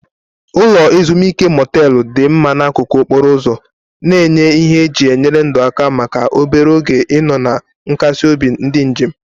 Ụlọ ezimuike motelu dị mma n'akụkụ okporo ụzọ, na-enye ihe eji enyere ndụ aka maka obere oge ịnọ na nkasi obi ndị njem.